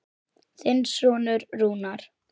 Þinn sonur Rúnar.